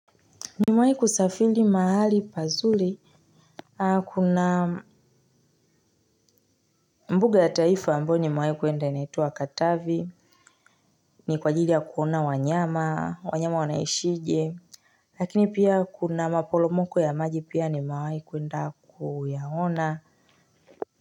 Nimewahi kusafiri mahali pazuri kuna mbuga ya taifa ambayo nimewahi kwenda inaitwa katavi ni kwa ajili ya kuona wanyama wanyama wanaishije lakini pia kuna maporomoko ya maji pia nimewahi kwenda kuyaona.